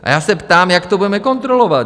A já se ptám, jak to budeme kontrolovat?